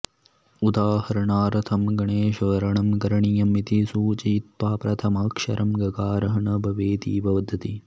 उदाहरणार्थं गणेशवर्णनं करणीयम् इति सूचयित्वा प्रथमाक्षरं गकारः न भवेदिति वदति